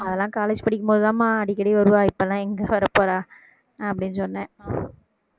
அதெல்லாம் college படிக்கும் போதுதா அம்மா அடிக்கடி வருவா இப்பெல்லாம் எங்க வரப்போறா அப்படின்னு சொன்னேன்